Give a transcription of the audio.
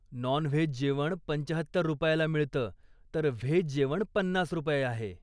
Non veg जेवण पंचाहत्तर रुपयाला मिळतं, तर व्हेज जेवण पन्नास रुपये आहे.